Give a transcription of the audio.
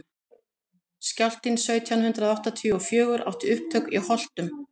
skjálftinn sautján hundrað áttatíu og fjögur átti upptök í holtum